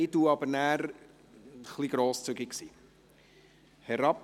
Ich werde dann etwas grosszügig sein.